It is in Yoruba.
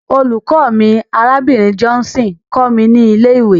Olùkọ́ mi, Arábìnrin Johnson, kọ́ mi ní ilé-ìwé.